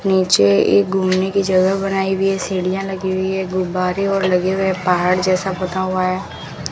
नीचे एक घूमने की जगह बनाई हुई है सीढ़ियां लगी हुई है गुब्बारे और लगे हुए पहाड़ जैसा बना हुआ है।